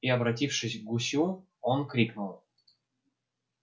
и обратившись к гусю он крикнул